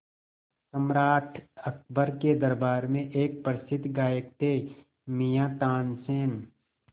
सम्राट अकबर के दरबार में एक प्रसिद्ध गायक थे मियाँ तानसेन